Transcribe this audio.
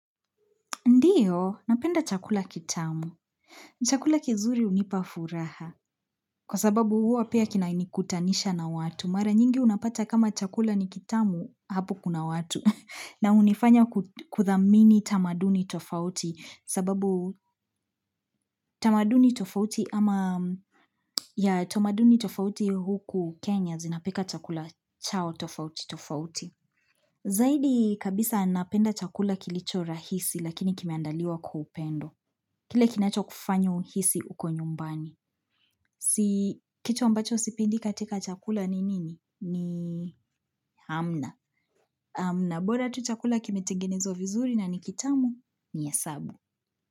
Ndiyo, napenda chakula kitamu. Chakula kizuri unipafuraha. Kwa sababu huwa pia kinanikutanisha na watu. Mara nyingi unapata kama chakula ni kitamu, hapo kuna watu. Na hunifanya kudhamini tamaduni tofauti. Sababu tamaduni tofauti ama ya tamaduni tofauti huku Kenya zinapika chakula chao tofauti tofauti. Zaidi kabisa napenda chakula kilicho rahisi lakini kimeandaliwa kwa upendo. Kile kinacho kufanya uhisi uko nyumbani. Si kitu ambacho sipendi katika chakula ni nini? Ni Hamna. Hamna, bora tu chakula kimetengenezwa vizuri na nikitamu nihesabu.